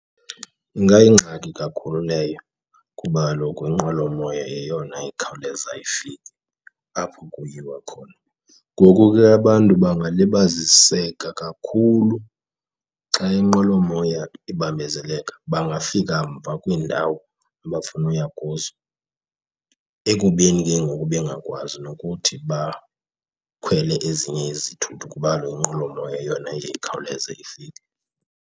Ingayingxaki kakhulu leyo kuba kaloku inqwelomoya yeyona ikhawuleza ifike apho kuyiwa khona. Ngoku ke abantu bangalibaziseka kakhulu xa inqwelomoya ibambezeleka, bangafika mva kwiindawo abafuna uya kuzo ekubeni ke ngoku bengakwazi nokuthi bakhwele ezinye izithuthi kuba kaloku inqwelomoya yeyona ikhawuleze ifike.